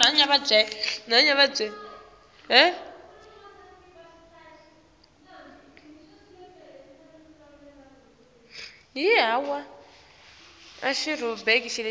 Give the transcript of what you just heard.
kubusa kufike njani